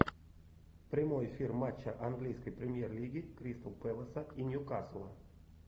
прямой эфир матча английской премьер лиги кристал пэласа и ньюкасла